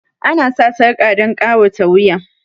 Ana sa sarƙa dan ƙawata wuya